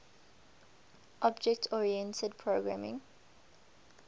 object oriented programming